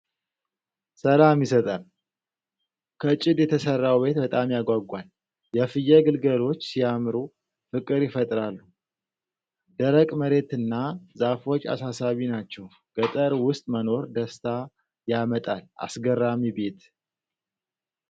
ሰላም ይሰጣል! ከጭድ የተሰራው ቤት በጣም ያጓጓል። የፍየል ግልገሎች ሲያምሩ፣ ፍቅር ይፈጥራሉ። ደረቅ መሬትና ዛፎች አሳሳቢ ናቸው። ገጠር ውስጥ መኖር ደስታ ያመጣል። አስገራሚ ቤት።